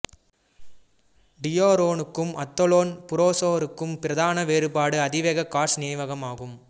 டியூரோனுக்கும் Athlon புரோசருக்கும் பிரதான வேறுபாடாக அதிவேக காஷ் நினைவகம் ஆகும்